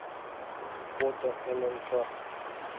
фото ннк